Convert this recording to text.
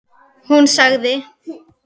Hún sagði.